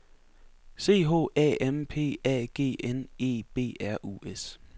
C H A M P A G N E B R U S